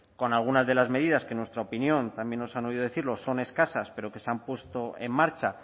con algunas de las medidas que en nuestra opinión también nos han oído decirlo son escasas pero que se han puesto en marcha